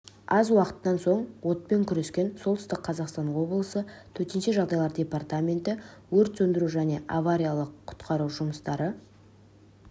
аз уақыттан соң отпен күреске солтүстік қазақстан облысы төтенше жағдайлар департаменті өрт сөндіру және авариялық-құтқару жұмыстары